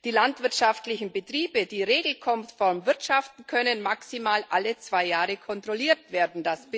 Die landwirtschaftlichen Betriebe, die regelkonform wirtschaften, können maximal alle zwei Jahre kontrolliert werden.